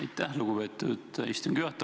Aitäh, lugupeetud istungi juhataja!